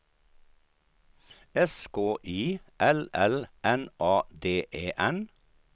S K I L L N A D E N